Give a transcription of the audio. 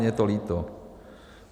Mně je to líto.